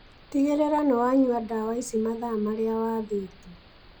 Tigĩrĩra nĩwanyua ndawa ici mathaa marĩa wathĩirwo